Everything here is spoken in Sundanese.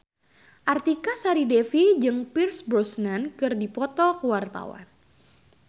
Artika Sari Devi jeung Pierce Brosnan keur dipoto ku wartawan